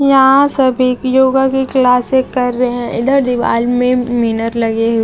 यहां सभी योगा की क्लासें कर रहे हैं इधर दीवाल में मिनर लगे--